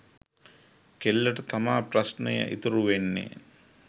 කෙල්ලට තමා ප්‍රශ්නය ඉතුරු වෙන්නේ.